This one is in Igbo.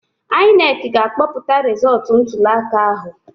INEC ga-akpọpụta rizọtụ ntuliaka ahụ